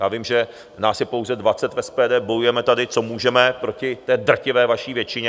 Já vím, že nás je pouze 20 v SPD, bojujeme tady, co můžeme, proti té drtivé vaší většině.